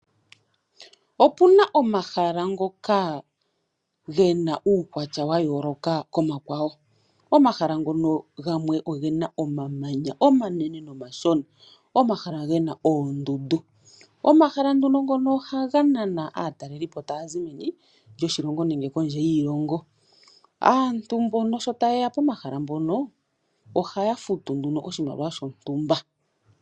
Opu na omahala ngoka ge na uukwatya wa yooloka komakwawo. Omahala ngoka gamwe oge na omamanya omanene nomashona, omahala ge na oondundu. Omahala ngono ohaga nana aatalelipo taya zi meni lyoshilong nenge kondje yiilongo. Aantu mbono shi taye ya poamahala mpono ohaya futu oshimaliwa shontumba.